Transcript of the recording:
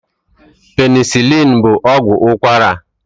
Penisilini bụ ọgwụ ụkwara.